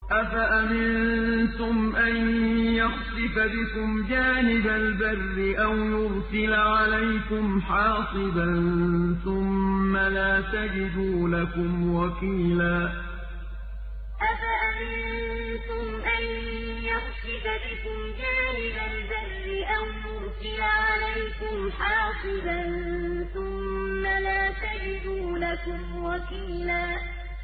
أَفَأَمِنتُمْ أَن يَخْسِفَ بِكُمْ جَانِبَ الْبَرِّ أَوْ يُرْسِلَ عَلَيْكُمْ حَاصِبًا ثُمَّ لَا تَجِدُوا لَكُمْ وَكِيلًا أَفَأَمِنتُمْ أَن يَخْسِفَ بِكُمْ جَانِبَ الْبَرِّ أَوْ يُرْسِلَ عَلَيْكُمْ حَاصِبًا ثُمَّ لَا تَجِدُوا لَكُمْ وَكِيلًا